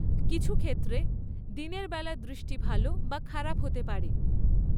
কিছু ক্ষেত্রে, দিনের বেলা দৃষ্টি ভাল বা খারাপ হতে পারে।